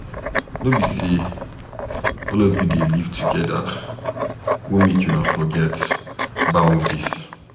No be sey all of us dey live together go make una forget boundaries.